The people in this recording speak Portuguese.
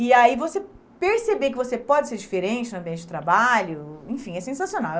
E aí você perceber que você pode ser diferente no ambiente de trabalho, enfim, é sensacional.